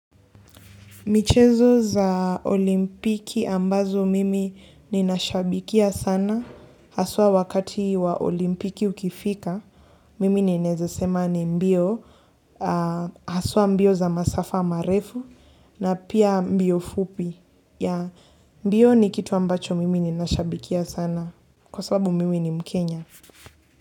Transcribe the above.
Michezo za olimpiki ambazo mimi ninashabikia sana haswa wakati wa olimpiki ukifika mimi ninaeza sema ni mbio haswa mbio za masafa marefu na pia mbio fupi yeah mbio ni kitu ambacho mimi ninashabikia sana kwa sababu mimi ni mkenya.